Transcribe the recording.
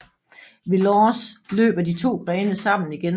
Ved Lorsch løber de to grene sammen igen